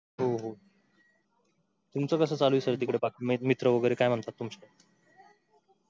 हो हो तुमचं कसं चालू आहे sir तिकड मित्र वगैरे काय म्हणतात तुमचे